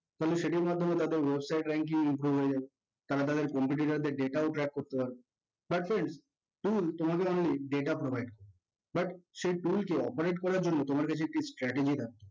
তাহলে সেটির মাধ্যমে তাদের website rank টিও improve হয়ে যাবে। তারা তাদের competitor দের data ও track করতে পারবে but friends tool তোমাদের আমি data provide করবো but সেই tool কে operate করার জন্য তোমার কাছে একটা startegy থাকতে